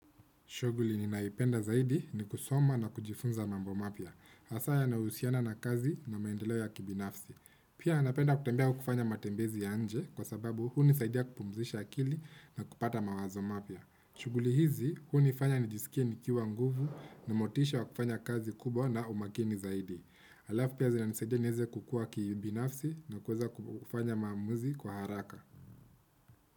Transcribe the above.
Shughuli ninayoipenda zaidi ni kusoma na kujifunza mambo mapya. Hasa yanahusiana na kazi na maendeleo ya kibinafsi. Pia napenda kutembea au kufanya matembezi ya nje kwa sababu hunisaidia kupumzisha akili na kupata mawazo mapya. Shughuli hizi hunifanya nijisikie nikiwa nguvu na motisha wa kufanya kazi kubwa na umakini zaidi. hAlafu pia zinanisaidia nieze kukua kibinafsi na kuweza kufanya maamuzi kwa haraka.